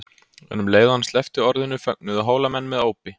Og um leið og hann sleppti orðinu fögnuðu Hólamenn með ópi.